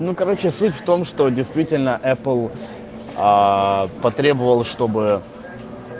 ну короче суть в том что действительно эпл потребовал чтобы